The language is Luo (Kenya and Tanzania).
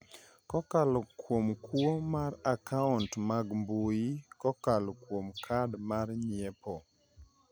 kokalo kuom kuo mar akaunt mag mbui kokalo kuom Kad mar Nyiepo.